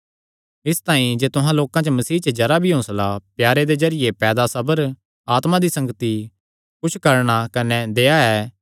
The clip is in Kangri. इसतांई जे तुहां लोकां च मसीह च जरा भी हौंसला प्यारे दे जरिये पैदा सबर आत्मा दी संगति कुच्छ करूणा कने दया ऐ